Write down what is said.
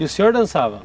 E o senhor dançava?